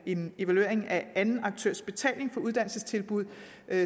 en evaluering af anden aktørs betaling for uddannelsestilbud